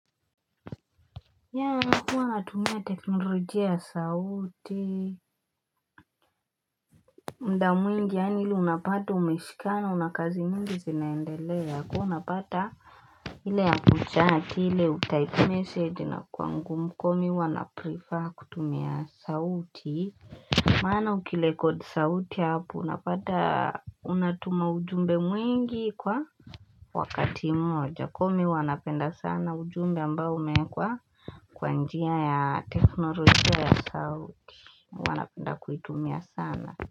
Yeah huwa natumia teknolojia ya sauti muda mwingi yaani ile unapata umeshikana una kazi mingi zinaendelea kuwa unapata ile ya kuchat ile utype message inakuwa ngumu huwa mimi na prefer kutumia sauti Maana ukirekodi sauti hapo unapata unatuma ujumbe mwingi kwa wakati moja mi huwa napenda sana ujumbe ambao umekwa kwa njia ya teknolojia ya sauti huwa napenda kuitumia sana.